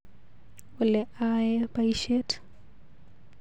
Ole aee baisiet.